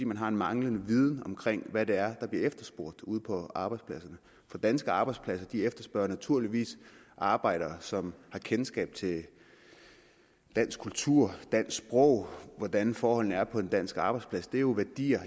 man har en manglende viden om hvad det er der bliver efterspurgt ude på arbejdspladserne for danske arbejdspladser efterspørger naturligvis arbejdere som har kendskab til dansk kultur dansk sprog og hvordan forholdene er på en dansk arbejdsplads det er jo værdier